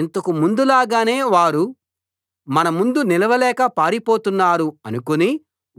ఇంతకు ముందులాగానే వారు మన ముందు నిలవలేక పారిపోతున్నారు అనుకుని